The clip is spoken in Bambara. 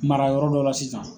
Mara yɔrɔ dɔ la sisan.